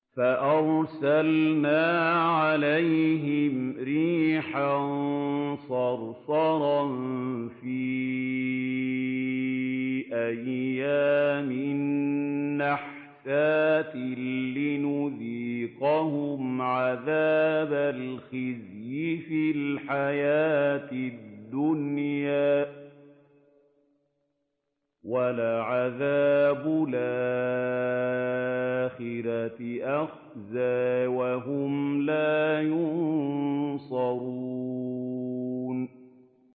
فَأَرْسَلْنَا عَلَيْهِمْ رِيحًا صَرْصَرًا فِي أَيَّامٍ نَّحِسَاتٍ لِّنُذِيقَهُمْ عَذَابَ الْخِزْيِ فِي الْحَيَاةِ الدُّنْيَا ۖ وَلَعَذَابُ الْآخِرَةِ أَخْزَىٰ ۖ وَهُمْ لَا يُنصَرُونَ